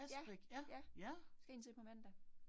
Ja, ja. Skal jeg ind til på mandag